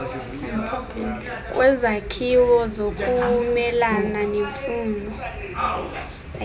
kwezakhiwo zokumelana nemfuno